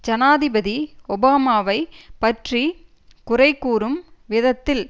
ஜனாதிபதி ஒபாமாவைப் பற்றி குறை கூறும் விதத்தில்